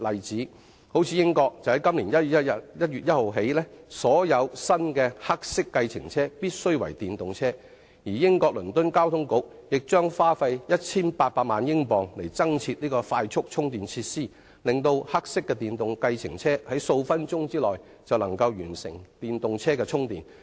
如英國由今年1月1日起，所有新的黑色計程車必須為電動車，而英國倫敦交通局將花費 1,800 萬英鎊增設快速充電設施，令黑色電動計程車可在數分鐘內完成充電。